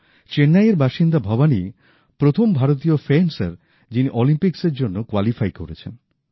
চেন্নাইয়ের বাসিন্দা ভবানী প্রথম ভারতীয় ফেন্সার যিনি অলিম্পিক্সসের জন্য কোয়ালিফাই করেছেন